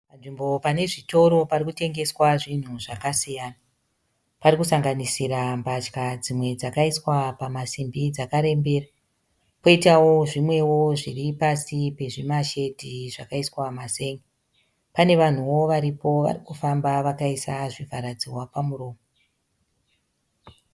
Panzvimbo panezvitoro parikutengeswa zvinhu zvakasiyana. Parikusanganisira mbatya dzimwe dzakaiswa pamasimbi dzakarembera . Poitawo zvimwewo zviripasi pezvimashedhi zvakaiswa mazen'e. Pane vanhuwo varipo varikufamba vakaisa zvivharadzihwa pamuromo.